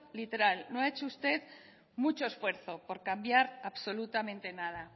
literal no ha hecho usted mucho esfuerzo por cambiar absolutamente nada